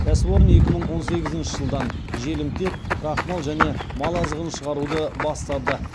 кәсіпорын екі мың он сегізінші жылдан желімтек крахмал және мал азығын шығаруды бастады